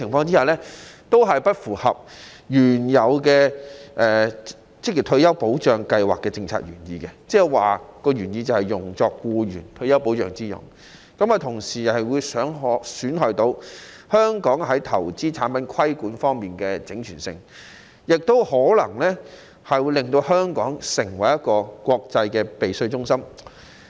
這些做法均不符合職業退休計劃為僱員提供退休保障的政策原意，同時會損害香港在投資產品規管方面的整全性，亦可能會令到香港成為國際避稅中心。